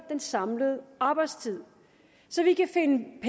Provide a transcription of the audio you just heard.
den samlede arbejdstid så vi kan